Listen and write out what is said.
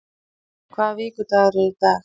Gabríela, hvaða vikudagur er í dag?